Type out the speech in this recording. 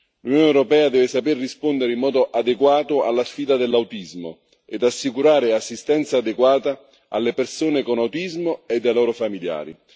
L'Unione europea deve saper rispondere in modo adeguato alla sfida dell'autismo ed assicurare assistenza adeguata alle persone con autismo e ai loro familiari.